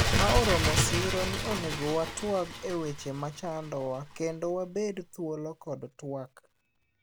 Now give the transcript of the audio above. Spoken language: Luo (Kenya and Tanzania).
Ma oromo siro ni onego watwak eweche machandowa kendo wabed thuolo kod twak